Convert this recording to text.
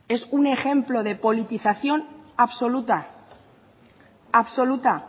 es un ejemplo de politización absoluta absoluta